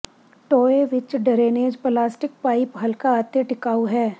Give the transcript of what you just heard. ਟੋਏ ਵਿੱਚ drainage plastic pipe ਹਲਕਾ ਅਤੇ ਟਿਕਾਊ ਹੈ